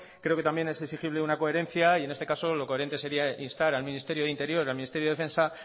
creo que también es exigible una coherencia y en este caso lo coherente sería instar al ministerio de interior al ministerio de defensa